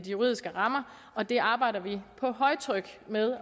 juridiske rammer og det arbejder vi på højtryk med at